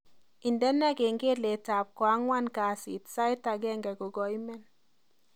Indene kengeletab ko angwan kasit sait agenge kogaimen